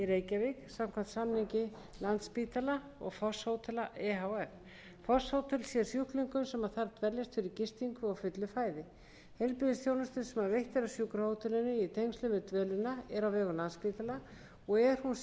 samkvæmt samningi landspítala og fosshótela e h f fosshótel sjá sjúklingum sem þar dveljast fyrir gistingu og fullu fæði heilbrigðisþjónusta sem veitt er á sjúkrahótelinu í tengslum við dvölina er á vegum landspítala og er hún sjúklingum að